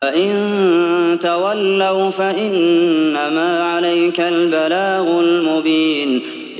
فَإِن تَوَلَّوْا فَإِنَّمَا عَلَيْكَ الْبَلَاغُ الْمُبِينُ